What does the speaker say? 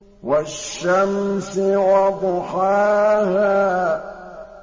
وَالشَّمْسِ وَضُحَاهَا